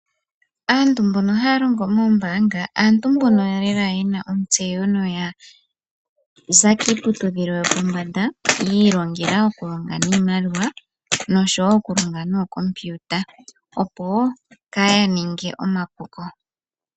Aantu mbono haya longo mombaanga aantu mbono lela yena ontseyo yo oya za kiiputudhilo yopombanda yi ilongela okulonga niimaliwa noshowo okulonga nookompiuta opo kaaya ninge omapuko